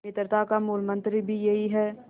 मित्रता का मूलमंत्र भी यही है